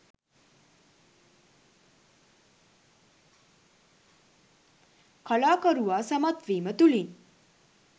කලාකරුවා සමත්වීම තුළින්